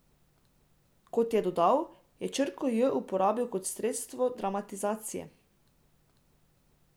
Kot je dodal, je črko J uporabil kot sredstvo dramatizacije.